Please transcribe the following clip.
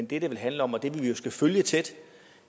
det vel handler om og det vi jo skal følge tæt